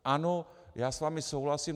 Ano, já s vámi souhlasím.